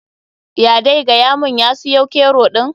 Ya dai gayamun ya siyo kero ɗin.